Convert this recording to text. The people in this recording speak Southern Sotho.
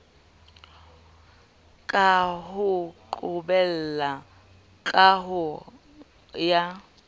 ka ho qoholleha kahong ya